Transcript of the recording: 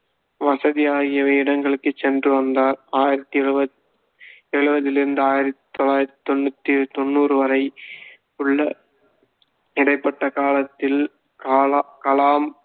வசதி ஆகியவை இடங்களுக்கு சென்று வந்தார் ஆயிரத்தி எழுவத்~ எழுவதிலிருந்து ஆயிரத்தி தொள்ளாயிரத்தி தொண்ணூத்தி~ தொண்ணூறு வரை உள்ள இடைப்பட்ட காலத்தில் காலா~ கலாம்